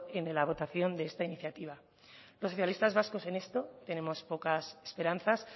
en la votación de esta iniciativa los socialistas vascos en esto tenemos pocas esperanzas